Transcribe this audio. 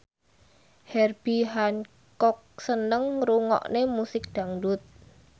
Herbie Hancock seneng ngrungokne musik dangdut